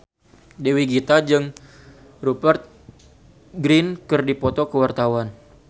Dewi Gita jeung Rupert Grin keur dipoto ku wartawan